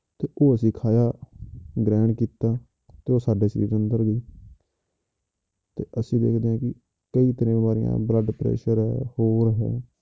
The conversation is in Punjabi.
ਤੇ ਉਹ ਅਸੀਂ ਖਾਇਆ ਗ੍ਰਹਿਣ ਕੀਤਾ, ਤੇ ਉਹ ਸਾਡੇ ਸਰੀਰ ਅੰਦਰ ਗਈ ਤੇ ਅਸੀਂ ਦੇਖਦੇ ਹਾਂ ਕਿ ਕਈ ਤਰ੍ਹਾਂ ਦੀਆਂ ਬਿਮਾਰੀਆਂ blood pressure ਹੋਰ ਹੈ